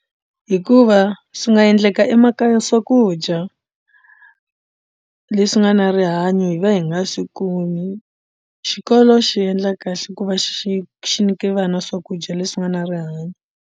Hikuva swi nga endleka emakaya swakudya leswi nga na rihanyo hi va hi nga swi kumi xikolo xi endla kahle ku va xi xi nyika vana swakudya leswi nga na rihanyo.